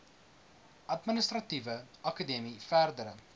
administratiewe akademie verdere